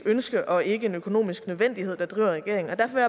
ønske og ikke en økonomisk nødvendighed der driver regeringen derfor